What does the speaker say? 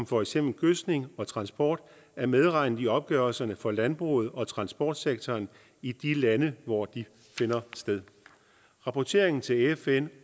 for eksempel gødskning og transport er medregnet i opgørelserne for landbruget og transportsektoren i de lande hvor de finder sted rapporteringen til fn